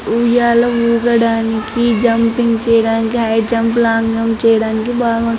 ఉయ్యాల్లో ఊగడానికి జుంపింగ్ చేయడానికి హై జంప్ లాంగ్ జంప్ చేయడానికి బాగు --